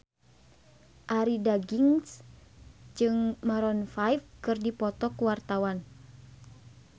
Arie Daginks jeung Maroon 5 keur dipoto ku wartawan